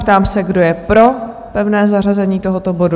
Ptám se, kdo je pro pevné zařazení tohoto bodu?